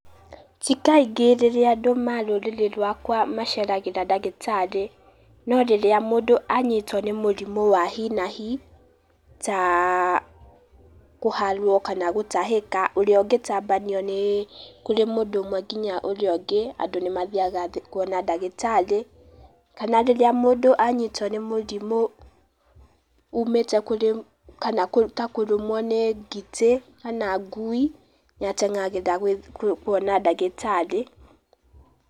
Ti kaingĩ rĩrĩa andũ ma rũrĩrĩ rwakwa maceragĩra ndagĩtarĩ, no rĩrĩa mũndũ anyitwo nĩ mũrimũ wa hi na hi, ta kũharwo kana gũtahĩka ũrĩa ũngitambanio nĩ kũrĩ mũndũ ũmwe nginya ũrĩa ũngĩ, andũ nĩ mathiaga kuona ndagĩtarĩ, kana rĩrĩa mũndũ anyitwo nĩ mũrimũ umĩte kũrĩ, kana ta kũrũmwo nĩ ngite kana ngui, nĩ ateng'agĩra kuona ndagĩtarĩ.